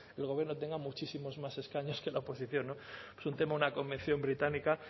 el gobierno tenga muchísimos más escaños que la oposición no es un tema una convención británica